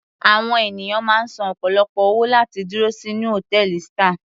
Àwọn ènìyàn máa ń san ọ̀pọ̀lọpọ̀ owó láti dúró sínú hòtẹ́ẹ̀lì star.